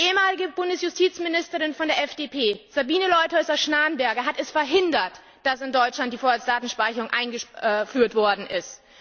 Die ehemalige Bundesjustizministerin von der FDP, Sabine Leutheusser Schnarrenberger, hat es verhindert, dass in Deutschland die Vorratsdatenspeicherung eingeführt worden ist.